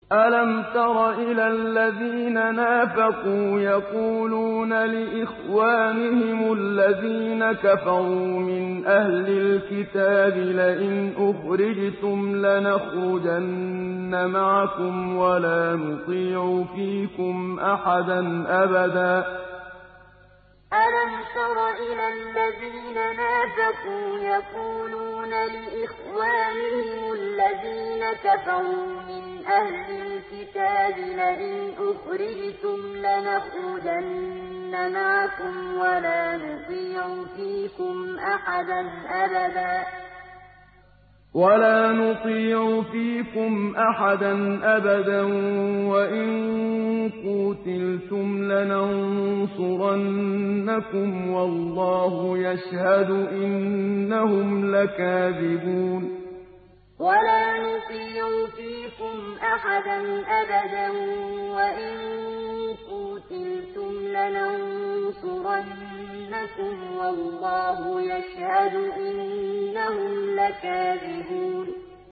۞ أَلَمْ تَرَ إِلَى الَّذِينَ نَافَقُوا يَقُولُونَ لِإِخْوَانِهِمُ الَّذِينَ كَفَرُوا مِنْ أَهْلِ الْكِتَابِ لَئِنْ أُخْرِجْتُمْ لَنَخْرُجَنَّ مَعَكُمْ وَلَا نُطِيعُ فِيكُمْ أَحَدًا أَبَدًا وَإِن قُوتِلْتُمْ لَنَنصُرَنَّكُمْ وَاللَّهُ يَشْهَدُ إِنَّهُمْ لَكَاذِبُونَ ۞ أَلَمْ تَرَ إِلَى الَّذِينَ نَافَقُوا يَقُولُونَ لِإِخْوَانِهِمُ الَّذِينَ كَفَرُوا مِنْ أَهْلِ الْكِتَابِ لَئِنْ أُخْرِجْتُمْ لَنَخْرُجَنَّ مَعَكُمْ وَلَا نُطِيعُ فِيكُمْ أَحَدًا أَبَدًا وَإِن قُوتِلْتُمْ لَنَنصُرَنَّكُمْ وَاللَّهُ يَشْهَدُ إِنَّهُمْ لَكَاذِبُونَ